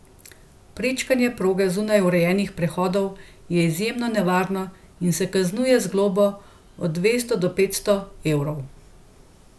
Prečkanje proge zunaj urejenih prehodov je izjemno nevarno in se kaznuje z globo od dvesto do petsto evrov.